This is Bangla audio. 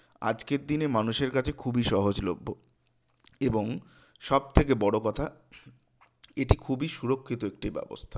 আজকের দিনে মানুষের কাছে খুবই সহজলভ্য এবং সবথেকে বড় কথা এটি খুবই সুরক্ষিত একটি ব্যবস্থা